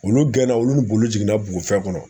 Olu gɛnna olu bolo jiginna bugufɛn kɔnɔ